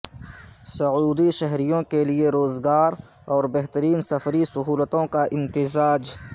سعودی شہریوں کیلیے روزگار اور بہترین سفری سہولتوں کا امتزاج